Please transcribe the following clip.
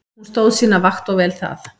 Hún stóð sína vakt og vel það.